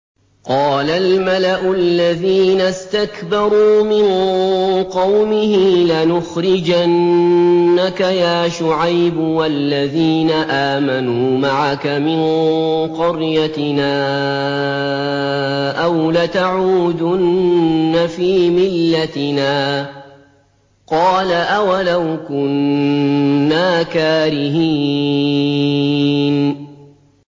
۞ قَالَ الْمَلَأُ الَّذِينَ اسْتَكْبَرُوا مِن قَوْمِهِ لَنُخْرِجَنَّكَ يَا شُعَيْبُ وَالَّذِينَ آمَنُوا مَعَكَ مِن قَرْيَتِنَا أَوْ لَتَعُودُنَّ فِي مِلَّتِنَا ۚ قَالَ أَوَلَوْ كُنَّا كَارِهِينَ